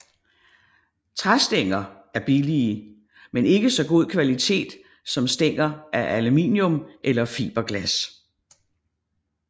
Træstænger er billige men ikke så god kvalitet som stænger af aluminium eller fiberglas